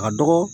A ka dɔgɔ